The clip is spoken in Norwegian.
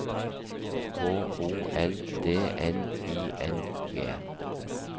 H O L D N I N G